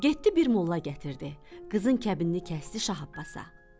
Getdi bir molla gətirdi, qızın kəbinini kəsdi Şah Abbasa.